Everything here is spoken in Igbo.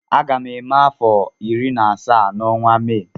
M ga-eme afọ iri na asatọ na ọnwa Mee